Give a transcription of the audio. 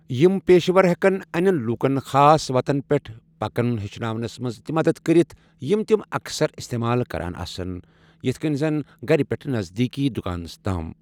یِم پیشہٕ ور ہٮ۪كن اَنٮ۪ین لوٗکن خاص وَتَن پٮ۪ٹھ پَکُن ہیٚچھناونَس منٛز تہِ مدد کٔرتھ یِمہٕ تِم اَکثَر استعمال كران آسن، یِتھکٔنۍ زن گَرٕ پٮ۪ٹھٕ نزدیٖکی دُکانَس تام ۔